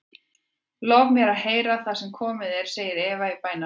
Lofaðu mér að heyra það sem komið er, segir Eva í bænarrómi.